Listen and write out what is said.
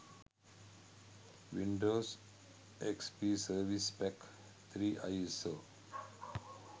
windows xp service pack 3 iso